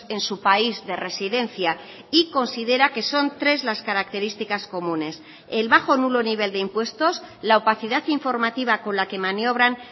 en su país de residencia y considera que son tres las características comunes el bajo o nulo nivel de impuestos la opacidad informativa con la que maniobran